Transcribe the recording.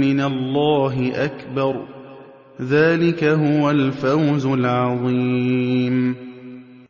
مِّنَ اللَّهِ أَكْبَرُ ۚ ذَٰلِكَ هُوَ الْفَوْزُ الْعَظِيمُ